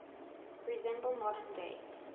resemble modern day